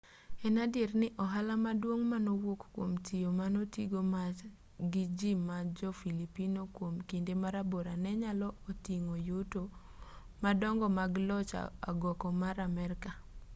en adier ni ohala maduong' manowuok kuom tiyo manotigo march gi ji ma jo-filipino kuom kinde marabora ne nyalo oting'o yuto madongo mag loch agoko mar amerka